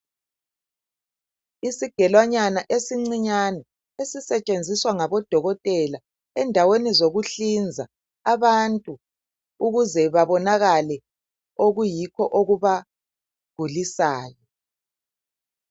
Isigelwanywana esincinyane esisetshenziswa ngabodokotela endaweni zokuhlinza abantu ukuze babonakale okubagulisayo